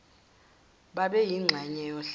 babe yingxenye yohlelo